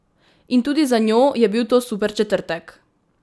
In tudi za njo je bil to super četrtek!